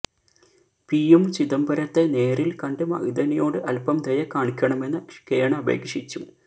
പിയും ചിദംബരത്തെ നേരില് കണ്ട് മഅ്ദനിയോട് അല്പം ദയ കാണിക്കണമെന്ന് കേണപേക്ഷിച്ചു